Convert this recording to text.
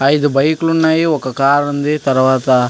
ఐదు బైకు లు ఉన్నాయి. ఒక కారు ఉంది. తర్వాత --